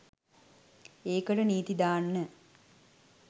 ඒකට නීතිදාන්න